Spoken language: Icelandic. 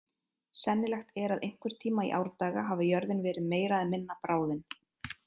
Sennilegt er að einhvern tíma í árdaga hafi jörðin verið meira eða minna bráðin.